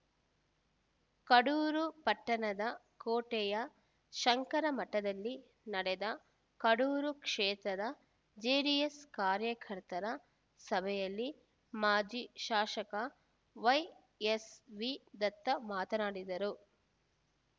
ಕಡೂರು ಪಟ್ಟಣದ ಕೋಟೆಯ ಶಂಕರ ಮಠದಲ್ಲಿ ನಡೆದ ಕಡೂರು ಕ್ಷೇತ್ರದ ಜೆಡಿಎಸ್‌ ಕಾರ್ಯಕರ್ತರ ಸಭೆಯಲ್ಲಿ ಮಾಜಿ ಶಾಸಕ ವೈಎಸ್‌ವಿ ದತ್ತ ಮಾತನಾಡಿದರು